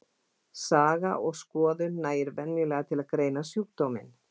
Saga og skoðun nægir venjulega til að greina sjúkdóminn.